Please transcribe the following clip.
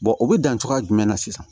o bɛ dan cogoya jumɛn na sisan